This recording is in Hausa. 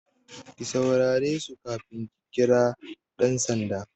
Ki saurare su kafin ki kira ɗan sanda!